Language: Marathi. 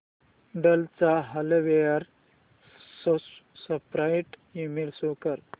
डेल चा हार्डवेअर सपोर्ट ईमेल शो कर